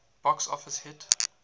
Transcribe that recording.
box office hit